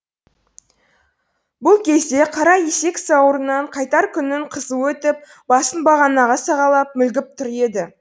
бұл кезде қара есек сауырынан қайтар күннің қызуы өтіп басын бағанаға сағалап мүлгіп тұр еді